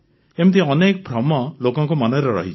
ଏମିତି ଅନେକ ଭ୍ରମ ଲୋକଙ୍କ ମନରେ ରହିଛି